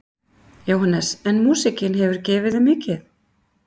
Jóhannes: En músíkin hefur gefið þér mikið?